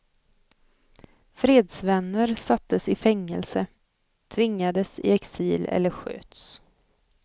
Fredsvänner sattes i fängelse, tvingades i exil eller sköts.